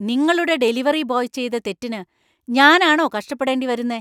നിങ്ങളുടെ delivery boy ചെയ്ത തെറ്റിന് ഞാനാണോ കഷ്ടപ്പെടേണ്ടി വരുന്നേ?